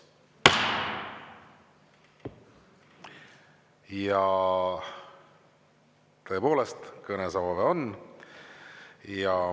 Ja tõepoolest, kõnesoove on.